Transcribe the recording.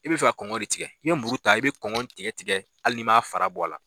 I be fɛ ka kɔngɔ de tigɛ, n'i ye muru ta i be kɔngɔ tigɛ tigɛ hali ni m'a fara bɔ a la.